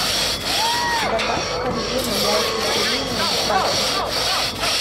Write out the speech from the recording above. добавь в корзину яйца куриные праксис